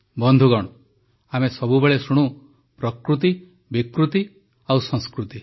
ବନ୍ଧୁଗଣ ଆମେ ସବୁବେଳେ ଶୁଣୁ ପ୍ରକୃତି ବିକୃତି ଓ ସଂସ୍କୃତି